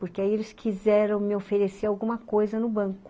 Porque aí eles quiseram me oferecer alguma coisa no banco.